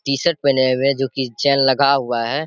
T-shirt पहने हुए हैं जो की चेन लगा हुआ है।